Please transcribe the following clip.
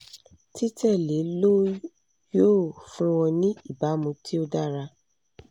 titẹle lo yoo fun ọ ni ibamu ti o dara